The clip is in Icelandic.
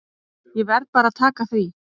Ég verð bara að taka því.